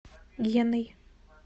геной